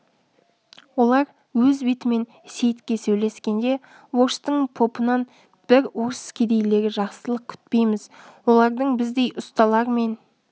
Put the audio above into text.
олар өз бетімен сейітке сөйлескенде орыстың попынан біз орыс кедейлері жақсылық күтпейміз олардың біздей ұсталар мен